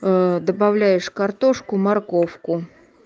добавляешь картошку морковку